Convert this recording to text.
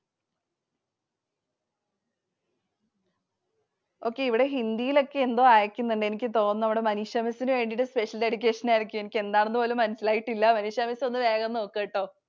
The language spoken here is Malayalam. Okay. ഇവിടെ Hindi യിലൊക്കെ എന്തോ അയക്കുന്നുണ്ട്. എനിക്ക് തോന്നുന്നു നമ്മുടെ Manisha Miss നു വേണ്ടിട്ട് special dedication ആയിരിക്കും. എനിക്ക് എന്താന്നു പോലും മനസ്സിലായിട്ടില്ല. Manisha Miss ഒന്ന് വേഗം നോക്കൂട്ടോ.